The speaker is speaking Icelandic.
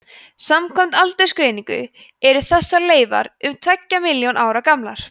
samkvæmt aldursgreiningu eru þessar leifar um tveggja milljón ára gamlar